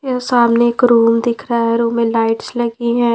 ये सामने एक रूम दिख रहा है रूम में लाइट्स लगी है।